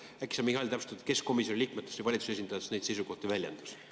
Äkki sa, Mihhail, täpsustad, kes komisjoni liikmetest ja valitsuse esindajatest neid seisukohti väljendas?